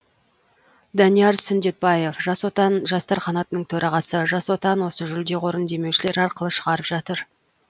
данияр сүндетбаев жас отан жастар қанатының төрағасы жас отан осы жүлде қорын демеушілер арқылы шығарып жатыр